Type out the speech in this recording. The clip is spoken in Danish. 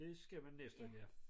Det skal man næsten ja